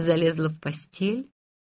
залезла в постель